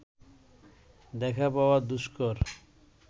দেখা পাওয়া দুষ্কর